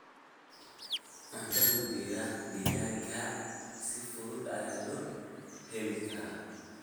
Cuntada deegaanka si fudud ayaa loo heli karaa.